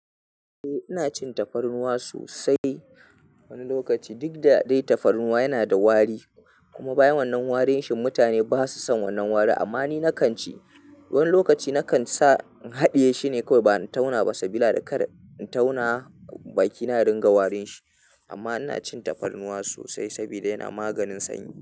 Eh ina cin tafarnuwa sosai. Wani lokaci duk da dai tafarnuwa yana da wari kuma bayan wannan warin shi mutane basa son wannan wari amma ni nakan ci. Wani lokaci nakan sa in haɗiye shine kawai bana tauna masa bila da kar in tauna baki na ringa warin shi. Amma ina cin tafarnuwa sosai sabida yana maganin sanyi.